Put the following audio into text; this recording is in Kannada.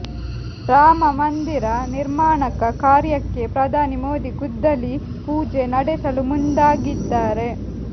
ರಾಮ ಮಂದಿರ ನಿರ್ಮಾಣಕ ಕಾರ್ಯಕ್ಕೆ ಪ್ರಧಾನಿ ಮೋದಿ ಗುದ್ದಲಿ ಪೂಜೆ ನಡೆಸಲು ಮುಂದಾಗಿದ್ದಾರೆ